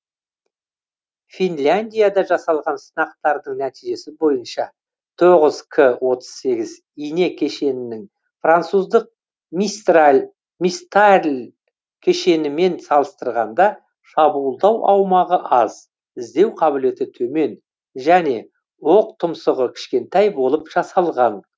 финляндияда жасалған сынақтардың нәтижесі бойынша тоғыз к отыз сегіз ине кешенінің француздық мистарль кешенімен салыстырғанда шабуылдау аумағы аз іздеу қабілеті төмен және оқтұмсығы кішкентай болып жасалған